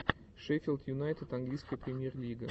шеффилд юнайтед английская премьер лига